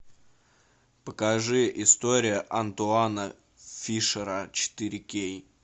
покажи история антуана фишера четыре кей